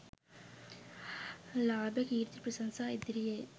ලාභ, කීර්ති, ප්‍රශංසා, ඉදිරියේ